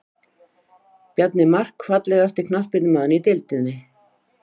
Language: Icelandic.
Bjarni Mark Fallegasti knattspyrnumaðurinn í deildinni?